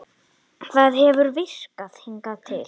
Það hefur virkað hingað til.